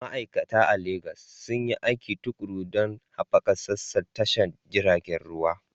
Ma'aikata a Legas sun yi aiki tuƙuru don haɓaka sassan tashar jiragen ruwa.